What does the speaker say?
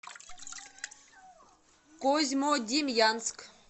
козьмодемьянск